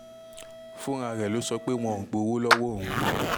fúnra ẹ̀ ló sọ pé wọn ò gbowó lọ́wọ́ òun